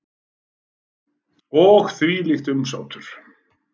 Og þvílíkt umsátur.